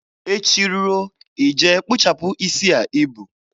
Echi ruo, ị je kpụchapụ isi a i bu.